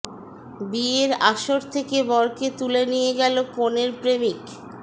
বিয়ের আসর থেকে বরকে তুলে নিয়ে গেল কনের প্রেমিক